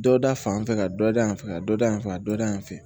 Dɔ da fan fɛ ka dɔ da yan fɛ ka dɔ da yan fɛ a dɔ da yan fɛ